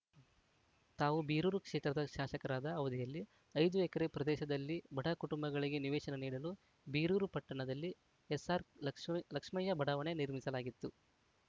ತಾವು ಬೀರೂರು ಕ್ಷೇತ್ರದ ಶಾಸಕರಾದ ಅವಧಿಯಲ್ಲಿ ಐದು ಎಕರೆ ಪ್ರದೇಶದಲ್ಲಿ ಬಡ ಕುಟುಂಬಗಳಿಗೆ ನಿವೇಶನ ನೀಡಲು ಬೀರೂರು ಪಟ್ಟಣದಲ್ಲಿ ಎಸ್‌ಆರ್‌ ಲಕ್ಷ ಲಕ್ಷ್ಮಯ್ಯ ಬಡಾವಣೆ ನಿರ್ಮಿಸಲಾಗಿತ್ತು